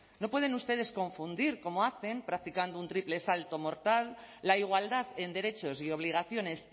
no pueden ustedes confundir como hacen practicando un triple salto mortal la igualdad en derechos y obligaciones